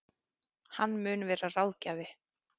Hann mun vera ráðgjafi